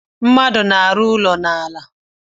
Mmadụ na-arụ ụlọ n'ala